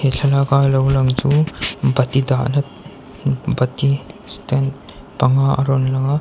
he thlalak a lo lang chu bati dahna bati stand panga a rawn lang a.